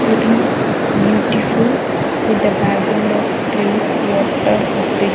Looking beautiful with the background of trees water bridge.